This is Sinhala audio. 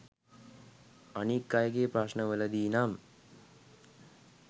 අනික් අයගේ ප්‍රශ්නවලදී නම්